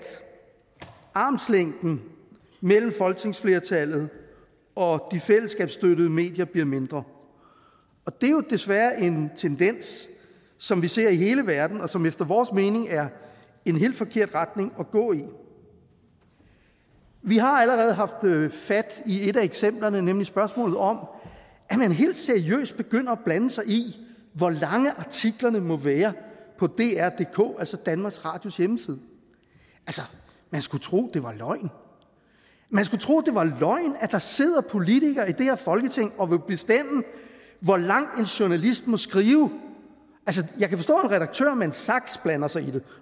armslængden mellem folketingsflertallet og de fællesskabsstøttede medier bliver mindre og det er jo desværre en tendens som vi ser i hele verden og som efter vores mening er en helt forkert retning at gå i vi har allerede haft fat i et af eksemplerne nemlig spørgsmålet om at man helt seriøst begynder at blande sig i hvor lange artiklerne må være på drdk altså danmarks radios hjemmeside man skulle tro det var løgn man skulle tro det var løgn at der sidder politikere i det her folketing og vil bestemme hvor lang en journalist må skrive jeg kan forstå at en redaktør med en saks blander sig i det